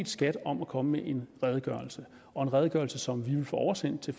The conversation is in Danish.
skat om at komme med en redegørelse en redegørelse som vi vil få oversendt til